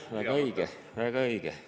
Jah, väga õige, väga õige!